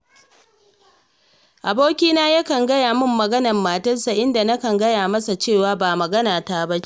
Abokina yakan kawo min maganar matarsa, inda nakan gaya masa cewa ba maganata ba ce